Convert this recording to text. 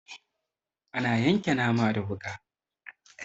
Ana yanka nama da wuƙa.